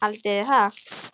Haldiði það?